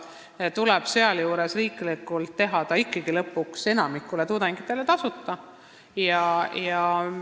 Seega tuleb lõpuks ikkagi riiklikult enamikule tudengitele tasuta haridust anda.